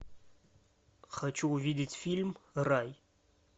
хочу увидеть фильм рай